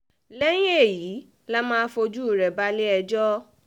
lẹ́yìn èyí la máa fojú rẹ̀ balẹ̀-ẹjọ́ um